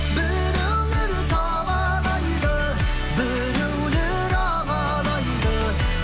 біреулер табалайды біреулер алалайды